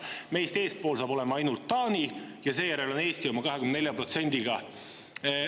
Meist eespool on siis ainult Taani ja seejärel Eesti oma 24%-ga.